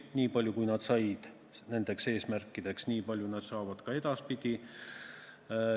Niipalju, kui nad nende eesmärkide saavutamiseks said, nii palju saavad nad ka edaspidi.